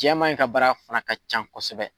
Jamama in ka baara fana ka ca kosɛbɛ